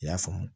I y'a faamu